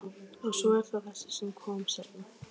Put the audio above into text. Og svo er það þessi sem kom seinna.